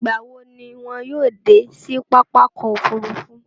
Ìgbá wo ni wọn yóò dé sí pápákọ̀ òfurufú?